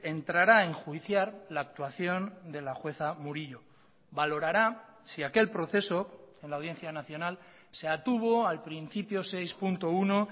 entrará a enjuiciar la actuación de la jueza murillo valorará si aquel proceso en la audiencia nacional se atuvo al principio seis punto uno